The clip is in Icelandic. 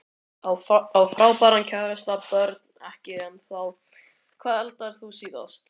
Á frábæran kærasta Börn: Ekki ennþá Hvað eldaðir þú síðast?